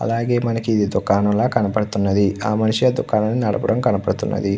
అలాగే మనకి దుకాణం కనబడుతున్నది . ఆ మనిషి ఆ వ్యక్తి దుకాణం నడిపినట్టు కనబడుతున్నది.